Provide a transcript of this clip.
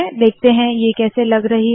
देखते है ये कैसी लग रही है